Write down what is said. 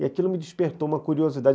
E aquilo me despertou uma curiosidade.